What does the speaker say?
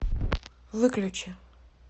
выключи